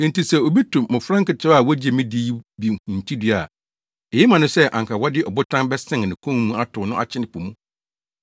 “Enti sɛ obi to mmofra nketewa a wogye me di yi bi hintidua a, eye ma no sɛ anka wɔde ɔbotan bɛsɛn ne kɔn mu atow no akyene po mu.